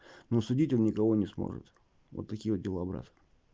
но судить он никого не сможет вот такие вот дела брат